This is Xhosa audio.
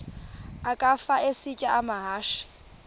ukafa isitya amahashe